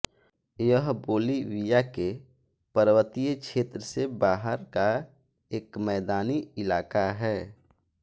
यह बोलिविया के पर्वतीय क्षेत्र से बाहर का एक मैदानी इलाक़ा है